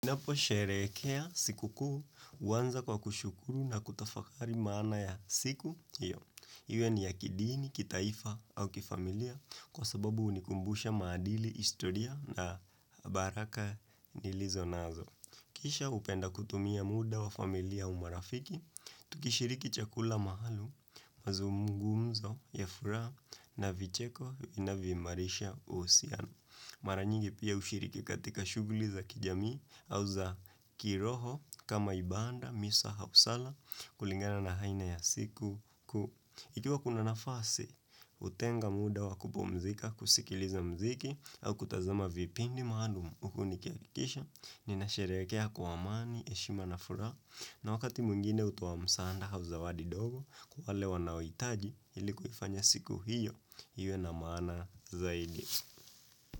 Naposherekea siku kuu, uwanza kwa kushukuru na kutafakari maana ya siku, hiyo. Iwe ni ya kidini, kitaifa au kifamilia, kwa sababu unikumbusha maadili historia na baraka nilizonazo. Kisha hupenda kutumia muda wa familia au marafiki, tukishiriki chakula maalum, mazumngumzo, ya furaha, na vicheko, inavyoimarisha, uhusiano. Mara nyingi pia ushiriki katika shuguli za kijamii au za kiroho kama ibanda misa hausala kulingana na haina ya siku kuu Ikiwa kuna nafasi kutenga muda wakupumzika kusikiliza muziki au kutazama vipindi maalum uku niki akikisha ninasherehekea kwa amani heshima na furaha, na wakati mwingine hutoa msaanda hau zawadi dogo kwa wale wanaoitaji ilikuifanya siku hiyo iwe na maana zaidi.